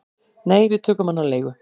"""Nei, við tókum hann á leigu"""